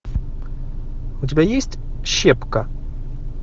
у тебя есть щепка